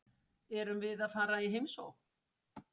Erum við að fara í heimsókn?